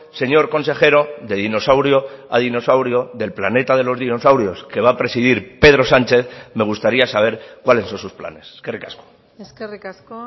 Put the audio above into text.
señor consejero de dinosaurio a dinosaurio del planeta de los dinosaurios que va a presidir pedro sánchez me gustaría saber cuáles son sus planes eskerrik asko eskerrik asko